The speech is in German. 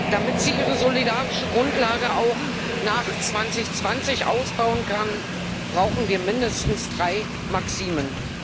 Damit sie ihre solidarische Grundlage auch nach 2020 ausbauen kann, brauchen wir mindestens drei Maximen.